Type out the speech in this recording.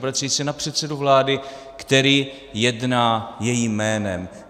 Obracejí se na předsedu vlády, který jedná jejím jménem.